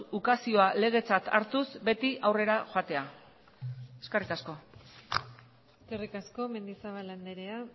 ukazioa legetzat hartuz beti aurrera joatea eskerrik asko eskerrik asko mendizabal andrea